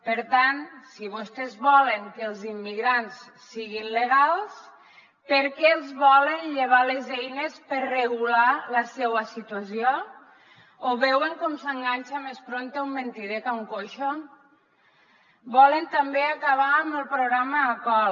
per tant si vostès volen que els immigrants siguin legals per què els volen llevar les eines per regular la seua situació ho veuen com s’enganxa més prompte un mentider que un coix volen també acabar amb el programa acol